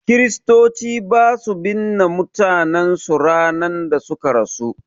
Kristoci basu binne mutanen su ranar da suka rasu